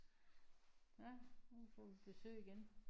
Nårh nu får vi besøg igen